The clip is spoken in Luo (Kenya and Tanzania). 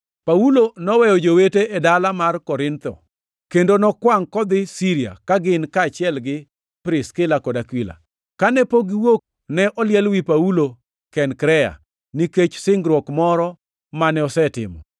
Paulo noweyo jowete e dala mar Korintho, kendo nokwangʼ kodhi Siria ka gin kaachiel gi Priskila kod Akula. Kane pok giwuok, ne oliel wi Paulo Kenkrea, nikech singruok moro mane osetimo.